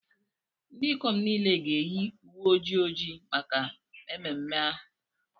Ndị ikom niile ga-eyi uwe ojii ojii maka mmemme ahụ.